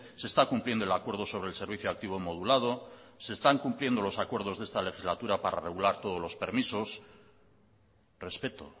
se está cumpliendo el acuerdo sobre el servicio activo modulado se están cumpliendo los acuerdos de esta legislatura para regular todos los permisos respeto